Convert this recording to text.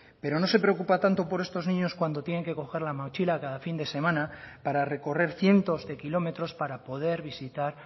pero no se preocupa tanto por estos niños cuando tienen que coger la mochila cada fin de semana para recorrer cientos de kilómetros para poder visitar